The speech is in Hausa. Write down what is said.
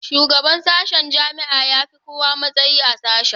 Shugaban sashen jami'a ya fi kowa matsayi a sashe